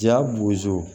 Ja bozo